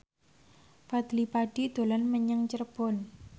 Fadly Padi dolan menyang Cirebon